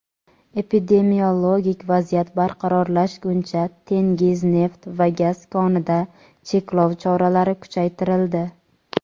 epidemiologik vaziyat barqarorlashguncha Tengiz neft va gaz konida cheklov choralari kuchaytirildi;.